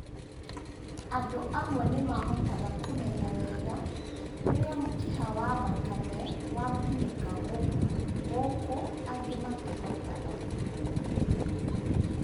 Andũ amwe nĩmahotaga kũmenya wega rĩrĩa mũkiha wa thakame watinĩka gũkũ angĩ matihotaga